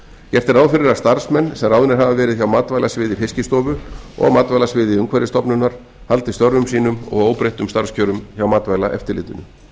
gert er ráð fyrir að starfsmenn sem ráðnir hafa verið hjá matvælasviði fiskistofu og matvælasviði umhverfisstofnunar haldi störfum sínum og óbreyttum starfskjörum hjá matvælaeftirlitinu